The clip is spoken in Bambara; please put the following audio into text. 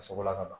A sogola ka ban